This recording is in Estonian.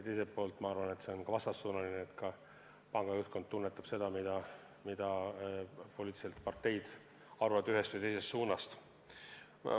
Teiselt poolt on see vastassuunaline vaade: panga juhtkond tunnetab seda, mida parteid arvavad ühest või teisest suunast.